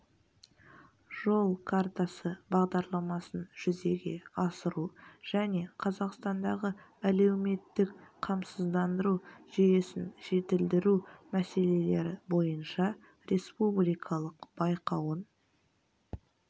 жол картасы бағдарламасын жүзеге асыру және қазақстандағы әлеуметтік қамсыздандыру жүйесін жетілдіру мәселелері бойынша республикалық байқауын